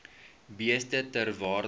beeste ter waarde